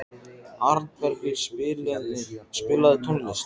Arnbergur, spilaðu tónlist.